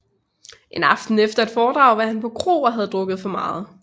En aften efter et foredrag var han på kro og havde drukket for meget